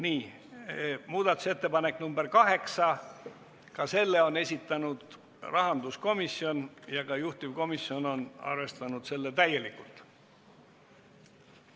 Nii, muudatusettepanek nr 8, ka selle on esitanud rahanduskomisjon ja juhtivkomisjon on arvestanud seda täielikult.